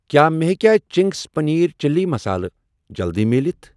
کیٛاہ مےٚ ہیٚکیٛاہ چِنٛگس پٔنیٖر چِلی مسالہٕ جلدِی مِلِتھ؟